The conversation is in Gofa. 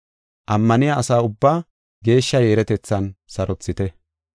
Ammaniya asa ubbaa geeshsha yeeretethan sarothite.